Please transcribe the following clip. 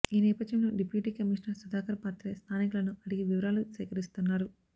ఈ నేపథ్యంలో deputy commissioner Sudhakar Patre స్థానికులను అడిగి వివరాలు సేకరిస్తున్నారు